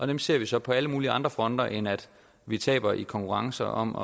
dem ser vi så på alle mulige andre fronter end at vi taber i konkurrence om